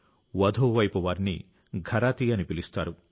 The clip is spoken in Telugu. వధువు వైపు వారిని ఘరాతీ అని పిలుస్తారు